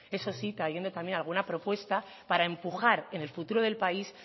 eso sí trayendo también alguna propuesta para empujar en el futuro del país